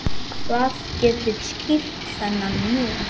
Hvað getur skýrt þennan mun?